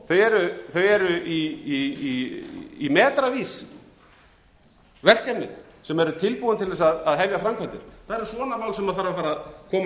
heild sinni þau eru í metravís verkefnin sem eru tilbúin til þess að hefja framkvæmdir það eru svona mál sem þarf að fara að koma hér